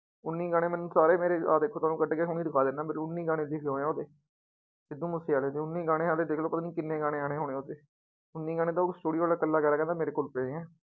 ਉੱਨੀ ਗਾਣੇ ਮੈਨੂੰ ਸਾਰੇ ਮੇਰੇ ਆਹ ਦੇਖੋ ਤੁਹਾਨੁੰ ਕੱਢ ਕੇ ਹੁਣੀ ਦਿਖਾ ਦਿਨਾ ਮੇਰੇ ਉੱਨੀ ਗਾਣੇ ਲਿਖੇ ਹੋਏ ਆ ਉਹਦੇ, ਸਿੱਧੂ ਮੂਸੇਵਾਲੇ ਦੇ ਉੱਨੀ ਗਾਣੇ ਹਾਲੇ ਦੇਖ ਲਓ ਪਤਾ ਨੀ ਕਿੰਨੇ ਗਾਣੇ ਆਉਣੇ ਹੋਣੇ ਉਹਦੇ, ਉੱਨੀ ਗਾਣੇ ਤਾਂ ਉਹ studio ਵਾਲਾ ਇਕੱਲਾ ਕਹਿੰਦਾ ਮੇਰੇ ਕੋਲ ਪਏ ਹੈ।